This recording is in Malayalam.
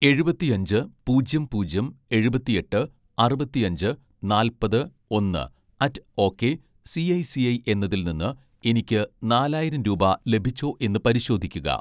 എഴുപത്തിഅഞ്ച് പൂജ്യം പൂജ്യം എഴുപത്തിഎട്ട് അറുപത്തിഅഞ്ച് നാല്‍പത്‌ ഒന്ന് അറ്റ് ഓക്കേ സിഐ സിഐ എന്നതിൽ നിന്ന് എനിക്ക് നാലായിരം രൂപ ലഭിച്ചോ എന്ന് പരിശോധിക്കുക